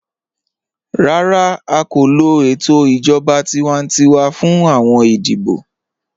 Rárá, à kò lọ ètò ijọ̀ba tíwàntíwà fún awọn ìdíbọ̀.